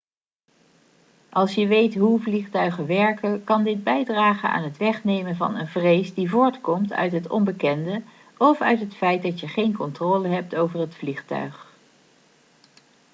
als je weet hoe vliegtuigen werken kan dit bijdragen aan het wegnemen van een vrees die voortkomt uit het onbekende of uit het feit dat je geen controle hebt over het vliegtuig